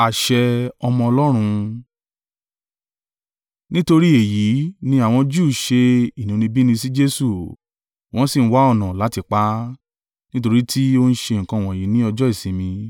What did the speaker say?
Nítorí èyí ni àwọn Júù ṣe inúnibíni sí Jesu, wọ́n sì ń wá ọ̀nà láti pa á, nítorí tí o ń ṣe nǹkan wọ̀nyí ní ọjọ́ ìsinmi.